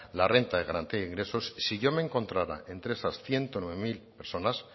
la renta de garantía de ingresos si yo me encontrara entre esas ciento nueve mil personas